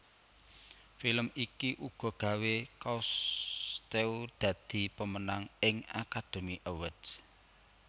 Film iki uga gawé Cousteau dadi pemenang ing Academy Award